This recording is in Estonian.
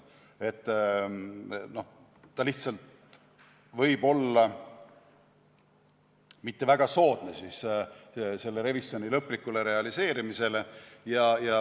See võib lihtsalt olla mitte väga soodne revisjoni lõplikule realiseerimisele.